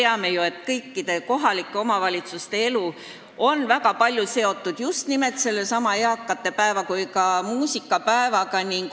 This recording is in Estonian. Nagu me teame, kõikide kohalike omavalitsuste elu on väga palju seotud just nimelt sellesama eakate päeva ja ka muusikapäevaga.